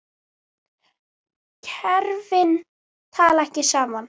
Kerfin tala ekki saman.